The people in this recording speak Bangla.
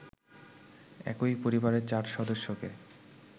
একই পরিবারের ৪সদস্যকে